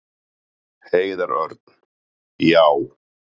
Heiðar Örn: Já.